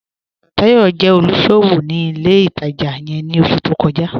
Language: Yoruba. Táyọ̀ jẹ́ olúṣọwọ́ ni ilẹ̀ ìtajá yẹ̀n ni oṣù tó kọ́jà